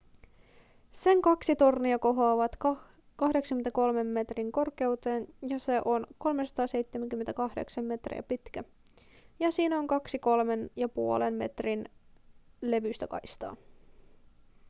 sen kaksi tornia kohoavat 83 metrin korkeuteen se on 378 metriä pitkä ja siinä on kaksi kolmen ja puolen metrin levyistä kaistaa